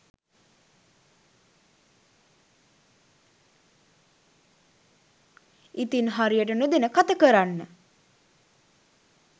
ඉතින් හරියට නොදැන කත කරන්න